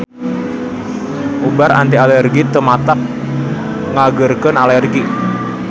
Ubar anti alergi teu matak nyageurkeun alergi.